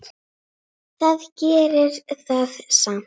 Það gerir það samt.